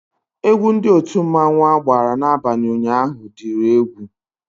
Egwu Ndị otu mmanwu agbara n'abalị ụnyaahụ diri egwú